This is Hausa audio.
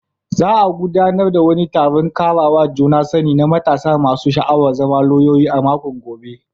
Za a gudanar da wani taron karawa juna sani na matasa masu sha'awar zama lauyoyi a makon gobe.